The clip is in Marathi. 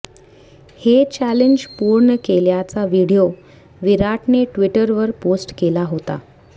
हे चॅलेंज पूर्ण केल्याचा व्हिडीओ विराटने ट्विटरवर पोस्ट केला होता